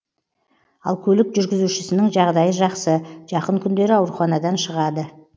ал көлік жүргізушісінің жағдайы жақсы жақын күндері ауруханадан шығады